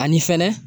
Ani fɛnɛ